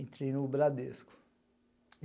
Entrei no Bradesco.